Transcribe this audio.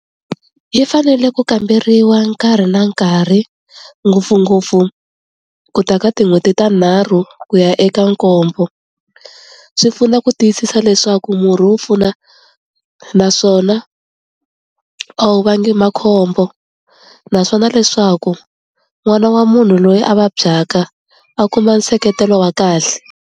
Yi fanele ku kamberiwa nkarhi na nkarhi ngopfungopfu ku ta ka tin'hweti tinharhu ku ya eka nkombo, swi pfuna ku tiyisisa leswaku murhi wo pfuna naswona a wu vangi makhombo naswona leswaku n'wana wa munhu loyi a vabyaka a kuma nseketelo wa kahle.